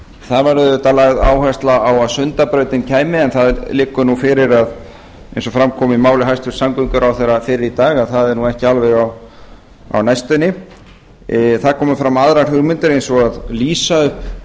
það var auðvitað lögð áhersla á að sundabrautin kæmi en það liggur nú fyrir eins og fram kom í máli hæstvirts samgönguráðherra fyrr í dag að það er nú ekki alveg á næstunni það komu fram aðrar hugmyndir eins og að lýsa upp